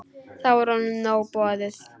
Þá var honum nóg boðið.